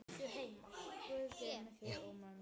Guð geymi þig og mömmu.